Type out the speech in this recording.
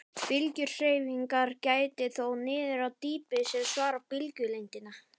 Bylgjuhreyfingar gætir þó niður á dýpi sem samsvarar bylgjulengdinni.